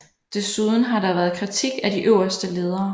Desuden har der været kritik af de øverste ledere